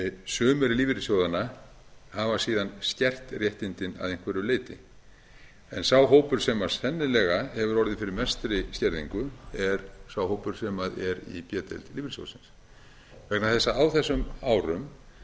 sumir lífeyrissjóðanna hafa síðan skert réttindin að einhverju leyti en sá hópur sem sennilega hefur orðið fyrir mestri skerðingu er sá hópur sem er í b deild lífeyrissjóðsins vegna þess